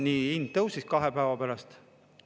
Siis hind tõusis kahe päeva pärast.